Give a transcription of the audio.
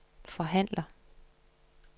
forhandler